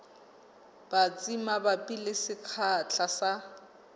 batsi mabapi le sekgahla sa